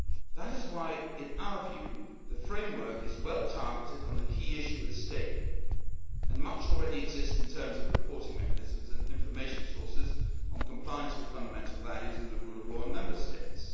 law. That is why, in our view, the framework is well targeted on the key issue at stake, and much already exists in terms of reporting mechanisms and information sources on compliance with fundamental values and the rule of law in Member States.